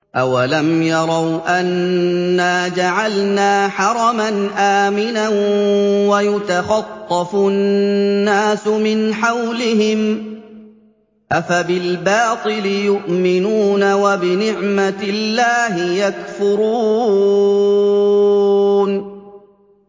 أَوَلَمْ يَرَوْا أَنَّا جَعَلْنَا حَرَمًا آمِنًا وَيُتَخَطَّفُ النَّاسُ مِنْ حَوْلِهِمْ ۚ أَفَبِالْبَاطِلِ يُؤْمِنُونَ وَبِنِعْمَةِ اللَّهِ يَكْفُرُونَ